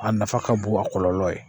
A nafa ka bon a kɔlɔlɔ ye